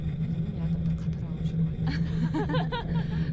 міне адамдар қатар алып жүр ғой